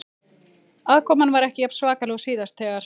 Aðkoman var ekki jafn svakaleg og síðast þegar